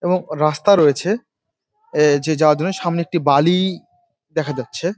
এবং রাস্তা রয়েছে | এ যা যাওয়ার জন্য সামনে একটি বালি দেখা যাচ্ছে।